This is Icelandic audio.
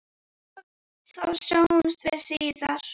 Og þá sjáumst við síðar!